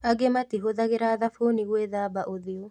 Angĩ matiahũthagĩra thabuni gwĩthamba ũthiũ